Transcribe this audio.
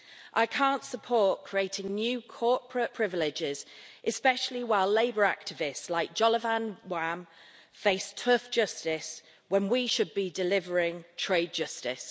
I can't support creating new corporate privileges, especially while labour activists like Jolovan Wham face tough justice when we should be delivering trade justice.